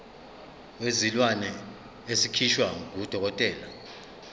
wezilwane esikhishwa ngudokotela